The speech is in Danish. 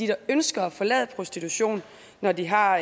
der ønsker at forlade prostitution når de har